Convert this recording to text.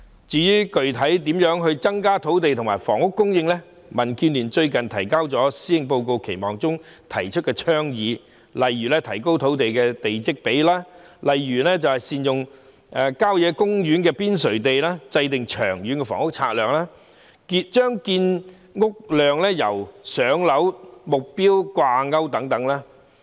至於具體上應如何增加土地和房屋供應，民建聯最近在《施政報告期望》中提出倡議，例如提高地積比率、善用郊野公園邊陲地、制訂《長遠房屋策略》、把建屋量與"上樓"目標掛鈎等。